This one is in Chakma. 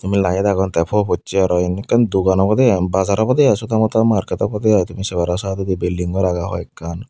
meilaid agon tey fo possey aro in ekkan dogan obwdey bazaar obwdey i chotw motw market obwdey i tumi sei paro saidodi belding gor agey hoiekkan.